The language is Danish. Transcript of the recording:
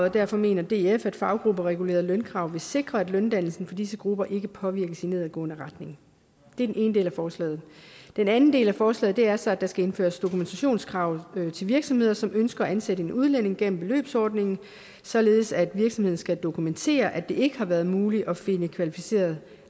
og derfor mener df at faggrupperegulerede lønkrav vil sikre at løndannelsen for disse grupper ikke påvirkes i nedadgående retning det er den ene del af forslaget den anden del af forslaget er så at der skal indføres dokumentationskrav til virksomheder som ønsker at ansætte en udlænding gennem beløbsordningen således at virksomheden skal dokumentere at det ikke har været muligt at finde kvalificeret